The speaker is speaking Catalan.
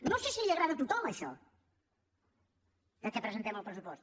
no sé si agrada a tothom això que presentem el pressupost